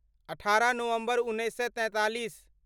अठारह नवम्बर उन्नैस सए तैंतालीस